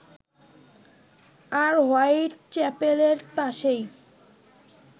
আর white চ্যাপেলের পাশেই